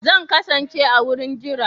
Zan kasance a wurin jira